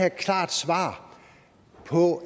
et klart svar på